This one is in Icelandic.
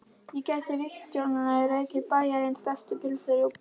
En gæti ríkisstjórnin rekið Bæjarins bestu pylsur í plús?